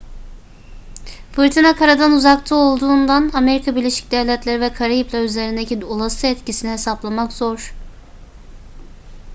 fırtına karadan uzakta olduğundan amerika birleşik devletleri ve karayipler üzerindeki olası etkisini hesaplamak zor